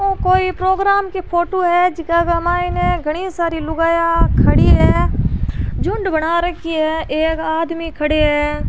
वो कोई प्रोग्राम की फोटो है जीका के में ने घनी सारी लुगाइयाँ खड़ी है झुण्ड बना रखी है एक आदमी खड़े है।